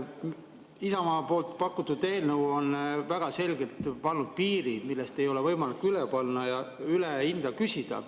Isamaa pakutud eelnõu on väga selgelt pannud piirid, millest üle ei ole võimalik hinda küsida.